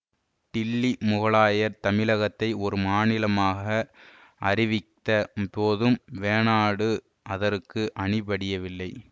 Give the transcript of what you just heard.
டில்லி முகலாயர் தமிழகத்தை ஒரு மாநிலமாக அறிவித்த போதும் வேணாடு அதற்கு அணிபடியவில்லை